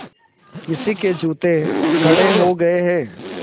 किसी के जूते कड़े हो गए हैं